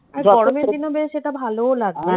গরমের দিনেও বেশ এটা ভালোও লাগবে